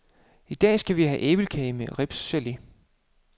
I dag skal vi have æblekage med ribsgele.